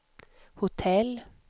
hotell